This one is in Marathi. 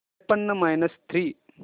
त्रेपन्न मायनस थ्री